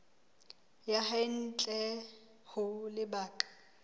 ya hae ntle ho lebaka